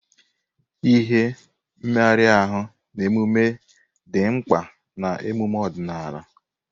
Ihe, mmegharị ahụ, na emume dị mkpa na emume ọdịnala.